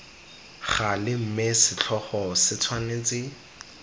gale mme setlhogo se tshwanetse